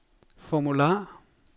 formular